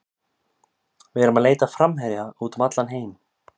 Við erum að leita að framherja út um allan heim.